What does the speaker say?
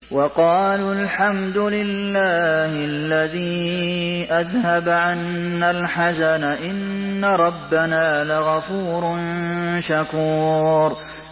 وَقَالُوا الْحَمْدُ لِلَّهِ الَّذِي أَذْهَبَ عَنَّا الْحَزَنَ ۖ إِنَّ رَبَّنَا لَغَفُورٌ شَكُورٌ